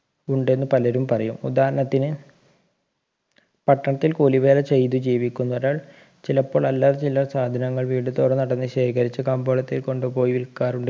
ഉണ്ടെന്ന് പലരും പറയും ഉദാഹരണത്തിന് പട്ടണത്തിൽ കൂലിവേല ചെയ്ത് ജീവിക്കുന്ന ഒരാൾ ചിലപ്പോൾ അല്ലറ ചില്ലറ സാധനങ്ങൾ വീടുതോറും നടന്ന് ശേഖരിച്ചു കമ്പോളത്തിൽ കൊണ്ടുപോയി വിൽക്കാറുണ്ട്